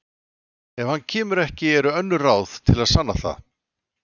Ef hann kemur ekki eru önnur ráð til að sanna það